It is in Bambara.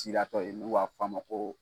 Sidatɔ ye n'u b'a f'a ma ko